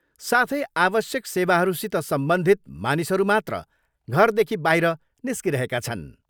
साथै आवश्यक सेवाहरूसित सम्बन्धित मानिसहरू मात्र घरदेखि बाहिर निस्किरहेका छन्।